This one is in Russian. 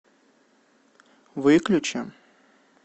выключи